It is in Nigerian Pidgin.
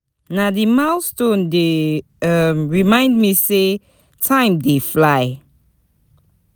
Na di milestones dey um remind me sey time dey fly.